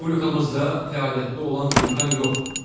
Respublikamızda fəaliyyətdə olan vulkan yoxdur.